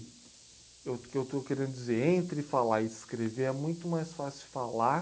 Eu o que eu que eu estou querendo dizer, entre falar e escrever é muito mais fácil falar